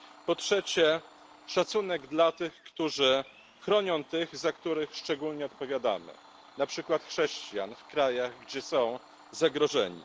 Po trzecie szacunek dla tych, którzy chronią tych, za których szczególnie odpowiadamy na przykład chrześcijan w krajach, gdzie są zagrożeni.